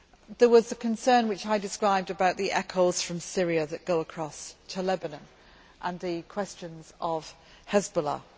There was a concern, which I described, about the echoes from Syria that go across to Lebanon, and about the question of Hezbollah.